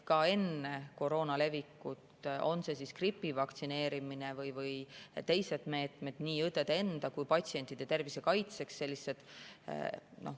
Ka enne koroona levikut olid gripi vastu vaktsineerimine ja teised meetmed nii õdede endi kui ka patsientide tervise kaitseks.